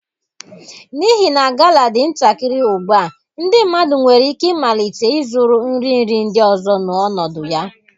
N'ihi na Gala dị ntakịrị ugbu a ndị mmadụ nwere ike ịmalite ịzụrụ nri nri ndị ọzọ n'ọnọdụ ya.